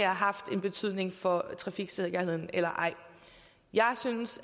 har haft en betydning for trafiksikkerheden eller ej jeg synes